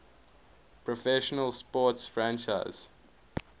professional sports franchise